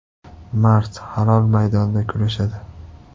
Mard, halol maydonda kurashadi.